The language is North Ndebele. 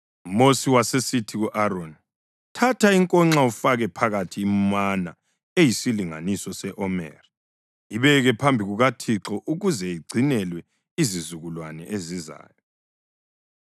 UMosi wasesithi ku-Aroni, “Thatha inkonxa ufake phakathi imana eyisilinganiso se-omeri. Ibeke phambi kukaThixo ukuze igcinelwe izizukulwane ezizayo.”